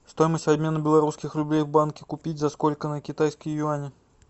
стоимость обмена белорусских рублей в банке купить за сколько на китайские юани